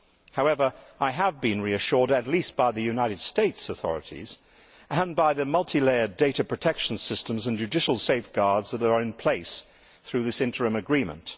However, I have been reassured at least by the United States authorities and by the multi layered data protection systems and judicial safeguards that are in place through this interim agreement.